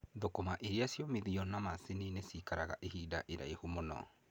Thũkũma irĩciomithĩtio na macini nĩcikaraga ihinda rĩraihu mũno.